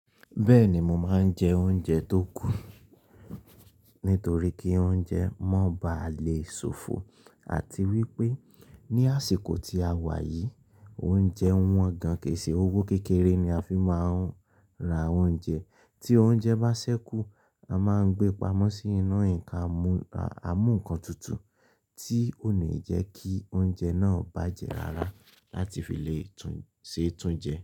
Bẹ́ẹ̀ni mo máa ń jẹ oúnjẹ tó kù nítorí kí oúnjẹ mọ́ ba lè sòfò àti wípé ní àsìkò tí a wà yìí oúnjẹ wọ́n gan kèése owó kékeré ni a fi máa ń ra oúnjẹ. Tí oúnjẹ bá ṣẹ́kù a máa ń gbé pamọ́ sínú ǹkan àmúǹkan tuntun tí ò le jẹ́ kí oúnjẹ náà bàjẹ́ rárá láti fi lè tún ṣe túnjẹ.